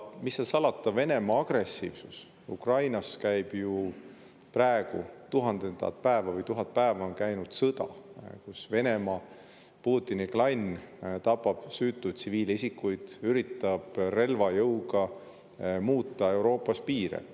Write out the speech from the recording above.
Mis seal salata, Venemaa on agressiivne, Ukrainas on 1000 päeva käinud sõda, kus Venemaa, Putini klann tapab süütuid tsiviilisikuid, üritab relvajõuga muuta Euroopas piire.